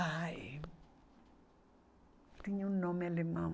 Ai... Tinha um nome alemão.